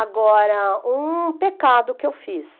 Agora, um pecado que eu fiz.